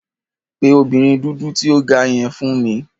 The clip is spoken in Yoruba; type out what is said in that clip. Pe obinrin dudu ti o ga yen fun mi!